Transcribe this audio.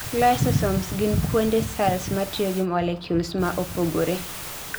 lysosomes gin kuonde cells matiyogi molecules maopogore